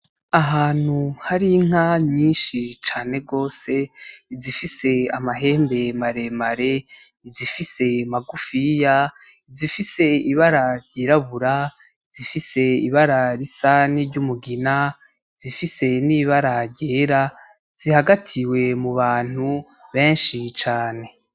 Ahantu hari inka nyinshi cane gose izifise amahembe mare mare izifise magufiya izifise ibara ry'irabura izifise ibara risa niryumugina izifise nibara ryera zihagatiwe mubantu benshi cane.